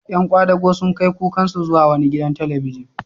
Ƴan kwadago sun kai kukansu zuwa wani gidan talabijin.